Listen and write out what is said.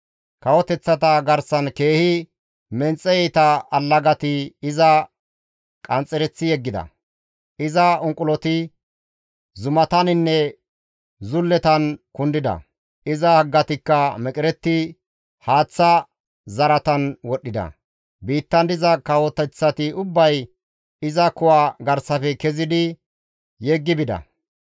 Kawoteththata garsan keehi menxe iita allagati iza qanxxereththi yeggida; iza unquloti zumataninne zulletan kundida; iza haggatikka meqeretti haaththa zaratan wodhdhida; biittan diza kawoteththati ubbay iza kuwa garsafe kezidi yeggi bida.